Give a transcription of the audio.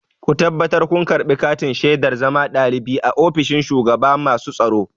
Ku tabbatar kun karɓi katin shaidar zama ɗalibi a ofishin shugaban masu tsaro!